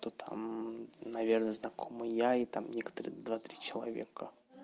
то там наверное знакомы я и там некоторые два три человека